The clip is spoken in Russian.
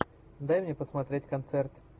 дай мне посмотреть концерт